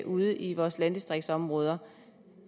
ude i vores landdistriktsområder